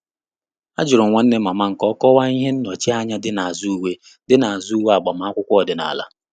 Àjụ́rụ́ m nwanne mama m kà ọ́ kọ́wàá ihe nnọchianya dị́ n’ázụ́ uwe dị́ n’ázụ́ uwe agbamakwụkwọ ọ́dị́nála.